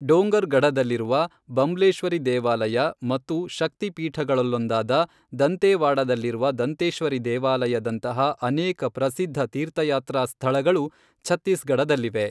ಡೊಂಗರ್ಗಢದಲ್ಲಿರುವ ಬಂಬ್ಲೇಶ್ವರಿ ದೇವಾಲಯ ಮತ್ತು ಶಕ್ತಿ ಪೀಠಗಳಲ್ಲೊಂದಾದ ದಂತೇವಾಡಾದಲ್ಲಿರುವ ದಂತೇಶ್ವರಿ ದೇವಾಲಯದಂತಹ ಅನೇಕ ಪ್ರಸಿದ್ಧ ತೀರ್ಥಯಾತ್ರಾ ಸ್ಥಳಗಳು ಛತ್ತೀಸ್ಗಢದಲ್ಲಿವೆ.